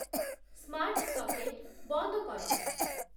smart socket ବନ୍ଦ କର